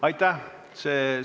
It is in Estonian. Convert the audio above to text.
Aitäh!